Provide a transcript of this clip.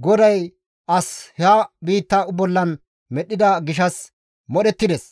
GODAY as ha biitta bollan medhdhida gishshas modhettides;